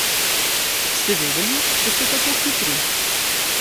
Ste vedeli, da ste tako hitri?